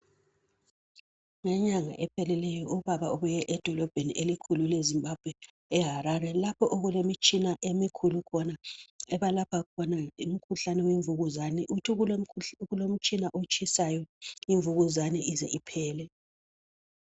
Ngenyanga ephelileyo ubaba ubuye edolobheni elikhulu le Zimbabwe e Harare lapho okulemitshina emikhulu khona ebalapha khona umkhuhlane wemvukuzane uthi kukhona umtshina otshisayo imvukuzane ize iphele